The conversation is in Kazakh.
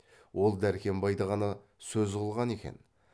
ол дәркембайды ғана сөз қылған екен